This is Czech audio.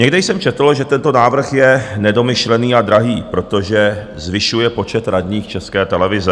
Někde jsem četl, že tento návrh je nedomyšlený a drahý, protože zvyšuje počet radních České televize.